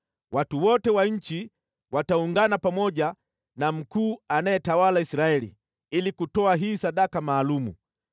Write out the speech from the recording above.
Watu wote wa nchi wataungana pamoja na mkuu anayetawala Israeli ili kutoa hii sadaka maalum.